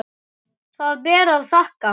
Það ber að þakka.